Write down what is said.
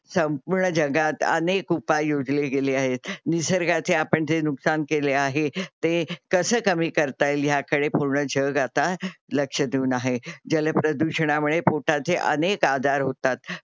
संपूर्ण जगात अनेक उपाय योजले गेले आहेत. निसर्गाचे आपण जे नुकसान केले आहे ते कसे कमी करता येईल ह्या कडे पूर्ण जग आता लक्ष देऊन आहे. जल प्रदूषणामुळे पोटाचे अनेक आजार होतात.